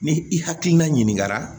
Ni i hakilina ɲininkara